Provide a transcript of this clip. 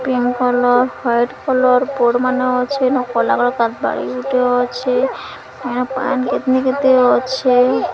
Pink colour white colour board ମାନ ଅଛି କାରବାଳି ଗୁଟେ ଅଛି କେତେ କେତେ ଅଛେ।